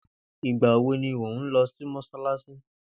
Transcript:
Ìgbà wo ni ò n lọ sí mọ́sálásí.